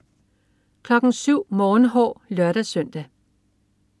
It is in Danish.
07.00 Morgenhår (lør-søn)